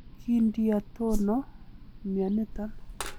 Kindiotono mioniton?